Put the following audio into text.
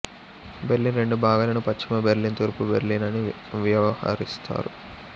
Berlin రెండు భాగాలను పశ్చిమ బెర్లిన్ తూర్పు బెర్లిన్ అని వ్యవహరిస్తారు